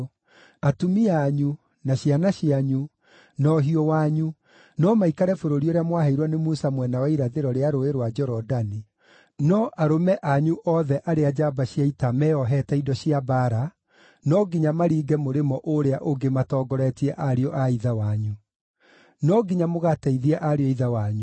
Atumia anyu, na ciana cianyu, na ũhiũ wanyu no maikare bũrũri ũrĩa mwaheirwo nĩ Musa mwena wa irathĩro rĩa Rũũĩ rwa Jorodani, no arũme othe anyu othe arĩa njamba cia ita meeohete indo cia mbaara, no nginya maringe mũrĩmo ũũrĩa ũngĩ matongoretie ariũ a ithe wanyu. No nginya mũgateithie ariũ a ithe wanyu.